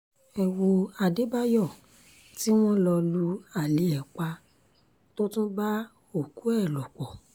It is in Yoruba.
ẹ wo adébáyò tí wọ́n lọ lu alẹ́ ẹ̀ pa tó tún bá òkú ẹ̀ lò pọ̀